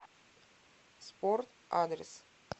спорт адрес